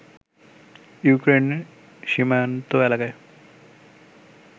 Ukraine সীমান্ত এলাকায়